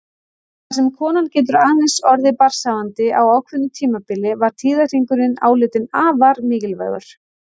Þar sem konan getur aðeins orðið barnshafandi á ákveðnu tímabili var tíðahringurinn álitinn afar mikilvægur.